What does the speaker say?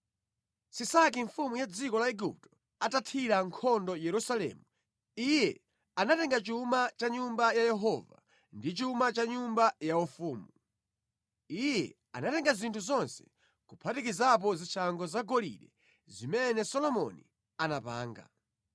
Sisaki mfumu ya dziko la Igupto atathira nkhondo Yerusalemu, iye anatenga chuma cha mʼNyumba ya Yehova ndi chuma cha mʼnyumba yaufumu. Iye anatenga zinthu zonse kuphatikizapo zishango zagolide zimene Solomoni anapanga.